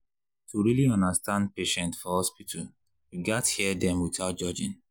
to really understand patient for hospital you gats hear dem without judging.